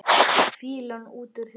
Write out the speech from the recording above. Fýlan út úr þér!